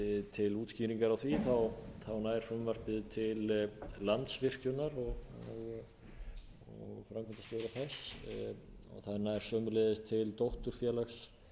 til útskýringar á því nær frumvarpið til landsvirkjunar og framkvæmdastjóra þess það nær sömuleiðis til dótturfélags